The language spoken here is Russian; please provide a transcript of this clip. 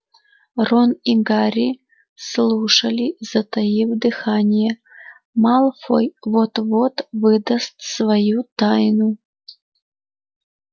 рон и гарри слушали затаив дыхание малфой вот-вот выдаст свою тайну